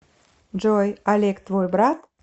джой олег твой брат